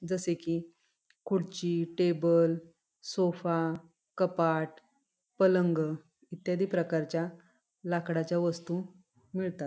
जसे की खुर्ची टेबल सोफा कपाट पलंग इत्यादि प्रकारच्या लाकडाच्या वस्तु मिळतात.